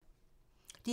DR2